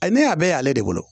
Ayi ne y'a bɛɛ y'ale de bolo